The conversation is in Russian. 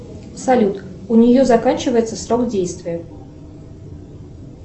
салют у нее заканчивается срок действия